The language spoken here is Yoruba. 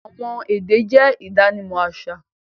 Awọn èdè jẹ̀ idànímọ̀ aṣa